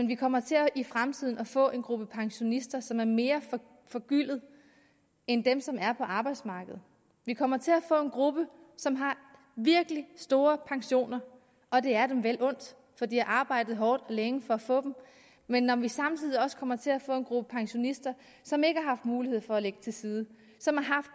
vi kommer til i fremtiden at få en gruppe pensionister som er mere forgyldte end dem som er på arbejdsmarkedet vi kommer til at få en gruppe som har virkelig store pensioner og det er dem vel undt for de har arbejdet hårdt og længe for at få dem men når vi samtidig også kommer til at få en gruppe pensionister som ikke har haft mulighed for at lægge til side som